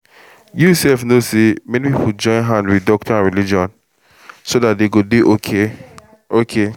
you sef know say many people join hand with doctor and religion together so dat dem go dey okay okay